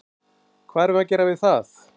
Hvað erum við að gera við það?